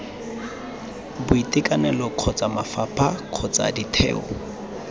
boitekanelo kgotsa mafapha kgotsa ditheo